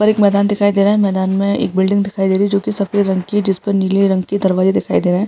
और एक मैदान दिखाई दे रहा है मैदान मे एक बिलडिंग दिखाई दे रही है जो की सफ़ेद रंग की है जिस पर नीले रंग की दरवाजे दिखाई दे रहे हैं।